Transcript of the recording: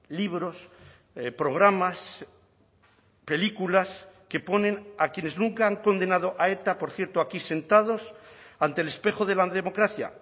libros programas películas que ponen a quienes nunca han condenado a eta por cierto aquí sentados ante el espejo de la democracia